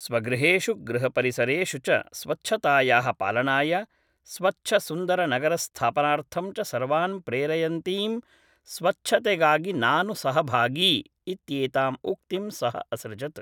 स्वगृहेषु गृहपरिसरेषु च स्वच्छतायाः पालनाय स्वच्छसुन्दरनगरस्थापनार्थं च सर्वान् प्रेरयन्तीं स्वच्छतेगागि नानु सहभागी इत्येताम् उक्तिं सः असृजत्